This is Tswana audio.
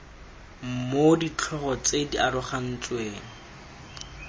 mo ditlhogo tse di arogantsweng